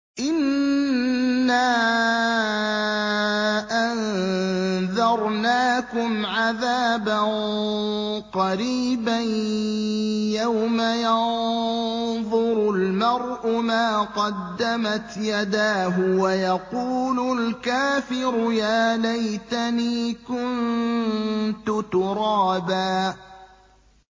إِنَّا أَنذَرْنَاكُمْ عَذَابًا قَرِيبًا يَوْمَ يَنظُرُ الْمَرْءُ مَا قَدَّمَتْ يَدَاهُ وَيَقُولُ الْكَافِرُ يَا لَيْتَنِي كُنتُ تُرَابًا